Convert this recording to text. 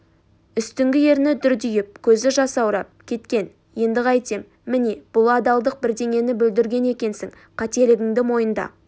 үстіңгі ерні дүрдиіп көзі жасаурап кеткен енді қайтем міне бұл адалдық бірдеңені бүлдірген екенсің қателігіңді мойында